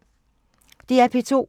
DR P2